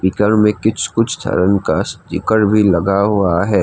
Speaker में कुछ कुछ सा रंग का स्टीकर भी लगा हुआ है।